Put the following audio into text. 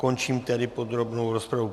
Končím tedy podrobnou rozpravu.